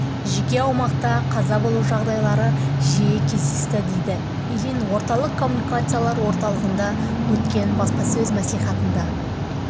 жеке аумақта қаза болу жағдайлары жиі кездесті деді ильин орталық коммуникациялар орталығында өткен баспасөз мәслихатында